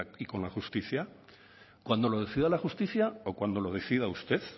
y con la justicia cuándo lo decida la justicia o cuándo lo decida usted